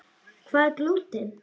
Hvað er glúten?